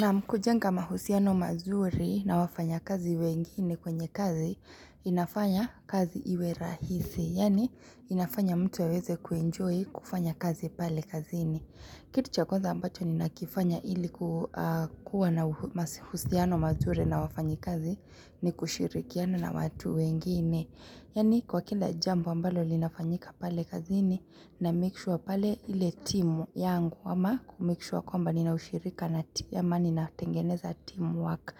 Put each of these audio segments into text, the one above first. Naam kujenga mahusiano mazuri na wafanya kazi wengine kwenye kazi, inafanya kazi iwerahisi, yaani inafanya mtu aweze kuenjoy kufanya kazi pale kazini. Kitu cha kwanza ambacho ni nakifanya ilikuwa na mahusiano mazuri na wafanyi kazi ni kushirikiano na watu wengine. Yaani kwa kila jambo ambalo linafanyika pale kazini na make sure pale ile timu yangu ama kumake sure kwamba nina ushirika ama nina tengeneza teamwork.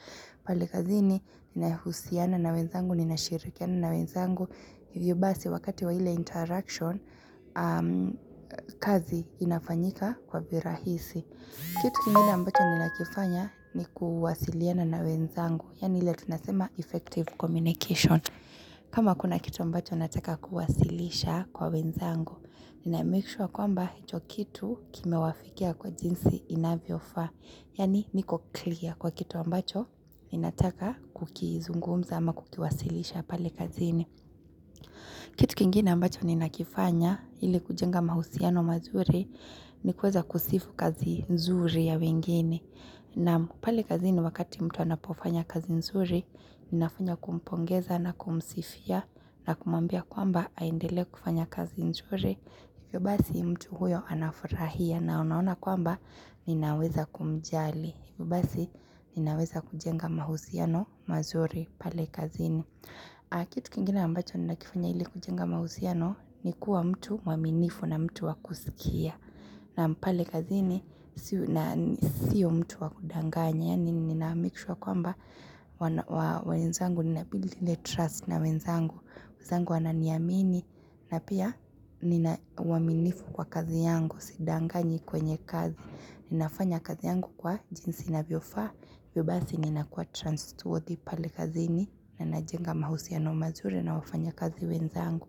Pale kazini inayohusiana na wenzangu, ninashirikiana na wenzangu. Yubasi wakati wa ile interaction, kazi inafanyika kwa virahisi. Kitu kingine ambacho nina kifanya ni kuwasiliana na wenzangu. Yani ile tunasema effective communication. Kama kuna kitu ambacho nataka kuwasilisha kwa wenzangu, nina make sure kwamba hichokitu kime wafikia kwa jinsi inavyofa, yaani niko clear kwa kitu ambacho ninataka kukizungumza ama kukiwasilisha pale kazini. Kitu kingine ambacho ni nakifanya ili kujenga mahusiano mazuri ni kuweza kusifu kazi nzuri ya wengine. Naam pale kazini wakati mtu anapofanya kazi nzuri, ninafanya kumpongeza na kumsifia na kumwambia kwamba aendele kufanya kazi nzuri. Hivyo basi mtu huyo anafurahia na unaona kwamba ninaweza kumjali. Hivyobasi ninaweza kujenga mahusiano mazuri pale kazini. Kitu kingine ambacho nina kifanya ili kujenga mahusiano ni kuwa mtu mwaminifu na mtu wakusikia Naam pale kazi ni sio mtu wakudanganya Yaani nina make sure kwamba wenzangu nina build ile trust na wenzangu wenzangu wananiamini na pia nina waminifu kwa kazi yangu sidanganyi kwenye kazi Ninafanya kazi yangu kwa jinsi inavyofaa hivyobasi ninakuwa trustworthy pale kazini na najenga mahusiano mazuri na wafanya kazi wenzangu.